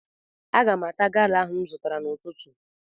Aga m ata gala ahụ m zụtara n'ụtụtụ